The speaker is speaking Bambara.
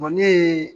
ne ye